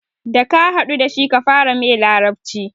Da ka haɗu dashi kafara mai larabci